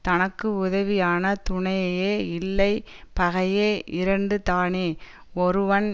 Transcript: தனக்கு உதவியான துணையையே இல்லை பகையே இரண்டு தானே ஒருவன்